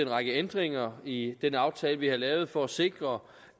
række ændringer i den aftale vi havde lavet for at sikre